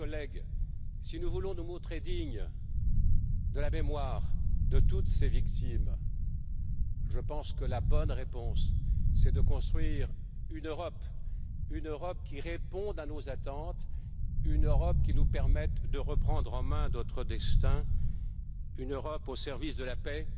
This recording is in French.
mes chers collègues, si nous voulons nous montrer dignes de la mémoire de toutes ces victimes, je pense que la bonne réponse, c'est de construire une Europe qui réponde à nos attentes, une Europe qui nous permette de reprendre en main notre destin, une Europe au service de la paix,